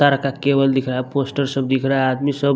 तार का केबल दिख रहा है पोस्टर सब दिख रहा है आदमी सब --